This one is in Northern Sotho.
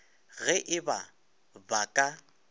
ge e ba ba ka